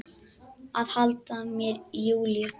Að halda mér í Júlíu.